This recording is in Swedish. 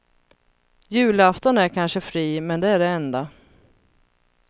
Julafton är kanske fri men det är det enda.